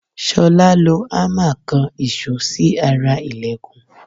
Ṣolá lo hámà kan ìṣó sí ara ìlẹ̀kùn.